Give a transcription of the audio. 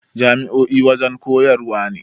Jami'o'i wajana koyarwa ne